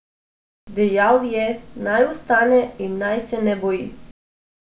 Dejal je, naj vstane in naj se ne boji.